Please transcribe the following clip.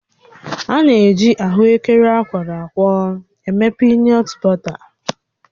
A na-eji ahụekere akwọrọ akwọ eme piinọt bọta